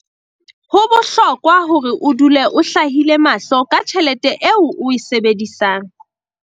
Ho bohlokwa hore o dule o hlahlile mahlo ka tjhelete eo o e sebedisang.